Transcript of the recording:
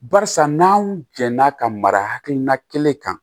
Barisa n'anw jɛnna ka mara hakilina kelen kan